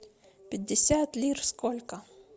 пятьдесят лир сколько